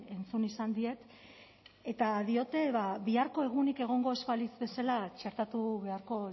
entzun izan diet eta diote biharko egunik egongo ez balitz bezala txertatu beharko